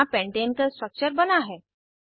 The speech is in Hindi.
यहाँ पेंटाने का स्ट्रक्चर बना है